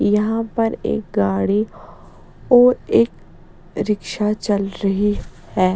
यहाँ पर एक गाड़ी और एक रिक्शा चल रही है --